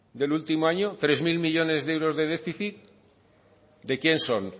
del último año tres mil millónes de euros de déficit de quién son